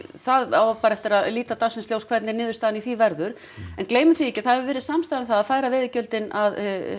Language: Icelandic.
það á bara eftir að líta dagsins ljós hvernig niðurstaðan í því verður en gleymum því ekki að það hefur verið samstaða um það að færa veiðigjöldin að